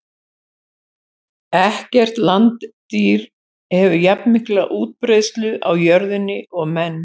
Ekkert landdýr hefur jafnmikla útbreiðslu á jörðinni og menn.